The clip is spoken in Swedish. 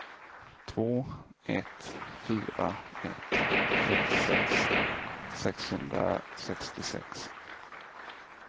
två ett fyra ett trettiosex sexhundrasextiosex